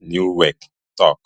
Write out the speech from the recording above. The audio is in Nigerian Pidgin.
nieuwkerk tok